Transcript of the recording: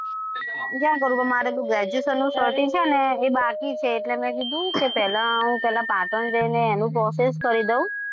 જ્યાં કરવું હોય. પણ મારે છે ને graduation નું certify છે ને એ બાકી છે. એટલે મેં કીધું પહેલા હું પાટણ જઈને એનું process કરી દઉં.